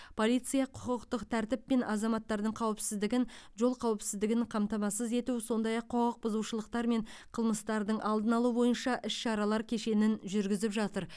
полиция құқықтық тәртіп пен азаматтардың қауіпсіздігін жол қауіпсіздігін қамтамасыз ету сондай ақ құқық бұзушылықтар мен қылмыстардың алдын алу бойынша іс шаралар кешенін жүргізіп жатыр